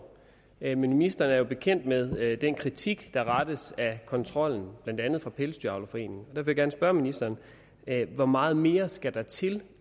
men ministeren er jo bekendt med den kritik der rettes af kontrollen blandt andet fra dansk pelsdyravlerforenings vil jeg gerne spørge ministeren hvor meget mere skal der til